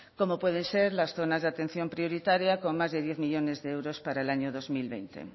como pueden ser las zonas de atención prioritaria con más de diez millónes de euros para el dos mil veinte